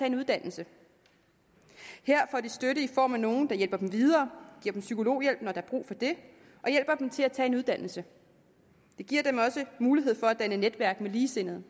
en uddannelse her får de støtte i form af nogle der hjælper dem videre giver dem psykologhjælp når der er brug for det og hjælper dem til at tage en uddannelse det giver dem også mulighed for at danne netværk med ligesindede